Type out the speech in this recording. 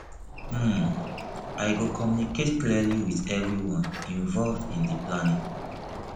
um i go communicate clearly with everyone involved in di planning